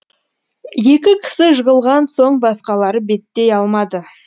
екі кісі жығылған соң басқалары беттей алмады